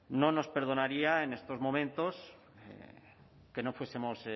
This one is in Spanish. no nos perdonaría en estos momentos que no fuesemos